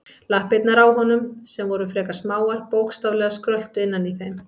Lappirnar á honum, sem voru frekar smáar, bókstaflega skröltu innan í þeim.